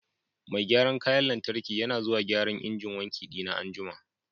Mai gyaran kayan lantarki yana zuwa gyaran injin wanki dina an'jumma.